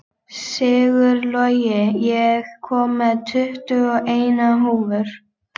Sigurlogi, ég kom með tuttugu og eina húfur!